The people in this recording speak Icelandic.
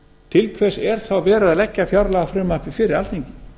til hvers er þá verið að leggja fjárlagafrumvarpið fyrir alþingi